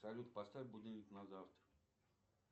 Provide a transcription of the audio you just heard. салют поставь будильник на завтра